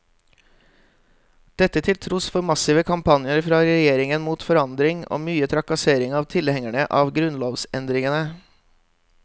Dette til tross for massive kampanjer fra regjeringen mot forandring og mye trakassering av tilhengerne av grunnlovsendringene.